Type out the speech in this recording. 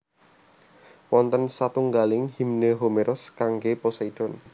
Wonten satunggaling Himne Homeros kanggé Poseidon